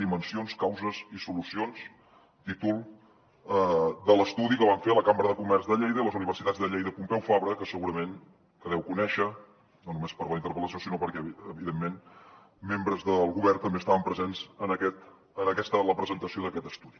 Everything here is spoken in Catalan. dimensions causes i solucions títol de l’estudi que van fer la cambra de comerç de lleida i les universitats de lleida i pompeu fabra que segurament que deu conèixer no només per la interpel·lació sinó perquè evidentment membres del govern també estaven presents en la presentació d’aquest estudi